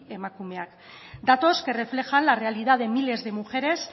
emakumeak datos que reflejan la realidad de miles de mujeres